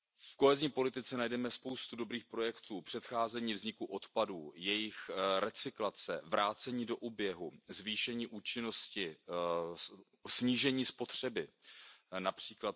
V kohezní politice najdeme spoustu dobrých projektů, předcházení vzniku odpadů, jejich recyklace, vrácení do oběhu, zvýšení účinnosti, snížení spotřeby, např.